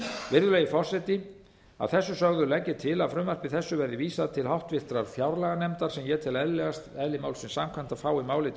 virðulegi forseti að þessu sögðu legg ég til að frumvarpi þessu verði vísað til háttvirtrar fjárlaganefndar sem ég tel eðlilegast eðli málsins samkvæmt að fái málið til